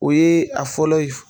O ye a fɔlɔ ye f